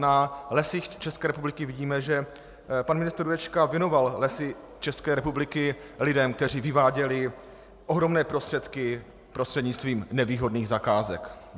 Na Lesích České republiky vidíme, že pan ministr Jurečka věnoval Lesy České republiky lidem, kteří vyváděli ohromné prostředky prostřednictvím nevýhodných zakázek.